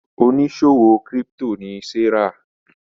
Serah ìṣòwò ní crypto.